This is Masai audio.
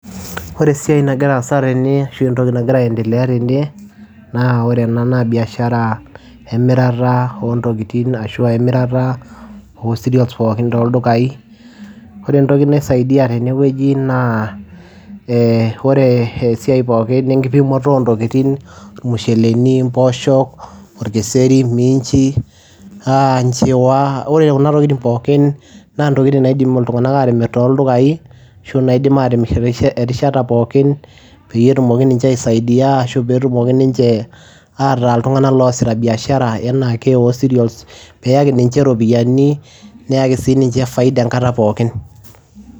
Ore esiai nagira aasa tene ashu entoki nagira aendelea tene naa ore ena naa biashara emirata oo ntokitin ashu emirata oo cereals pookin toldukai. Ore entoki naisaidia tene wueji naa ee ore esiai pookin enkipimoto oo ntokitin irmusheleni, impooshok, orkeseri, miinchi, aa nchiwa. Ore kuna tokitin pookin naa intokitin naidim iltung'anak aatimir toldukai ashu naidim aatimir erishata pookin peyie etumoki ninche aisaidia ashu peetumoki ninche ataa iltung'anak loosita biashara enaa ake oo cereals peeyaki ninche ropiani neyaki sii niche faida enkata pookin.